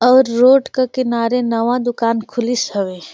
और रोड के किनारे नवा दुकान खुलिस हवे --